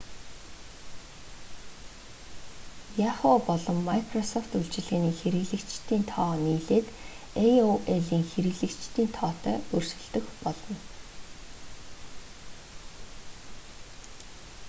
yahoo! болон microsoft үйлчилгээний хэрэглэгчдийн тоо нийлээд aol-ийн хэрэглэгчдийн тоотой өрсөлдөх болно